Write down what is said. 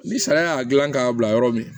Ni sariya y'a gilan k'a bila yɔrɔ min na